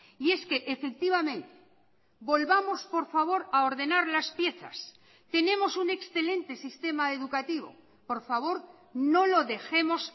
y es que efectivamente volvamos por favor a ordenar las piezas tenemos un excelente sistema educativo por favor no lo dejemos